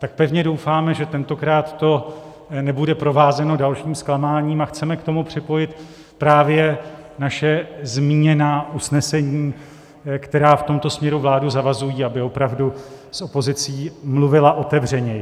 Tak pevně doufáme, že tentokrát to nebude provázeno dalším zklamáním, a chceme k tomu připojit právě naše zmíněná usnesení, která v tomto směru vládu zavazují, aby opravdu s opozicí mluvila otevřeněji.